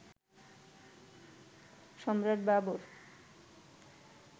Samrat Babur